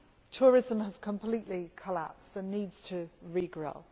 Tourism has completely collapsed and needs to regrow.